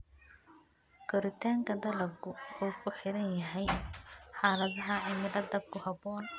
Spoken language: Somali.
Koritaanka dalaggu wuxuu ku xiran yahay xaaladaha cimilada ku habboon.